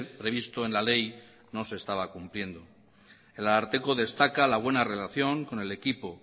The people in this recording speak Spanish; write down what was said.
previsto en la ley no se estaba cumpliendo el ararteko destaca la buena relación con el equipo